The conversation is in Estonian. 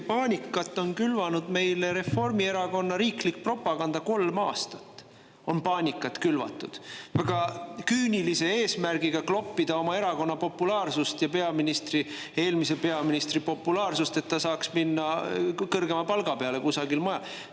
Paanikat on külvanud meile Reformierakonna riiklik propaganda, kolm aastat on paanikat külvatud väga küünilise eesmärgiga: kloppida oma erakonna populaarsust ja eelmise peaministri populaarsust, et ta saaks minna kõrgema palga peale kusagile mujale.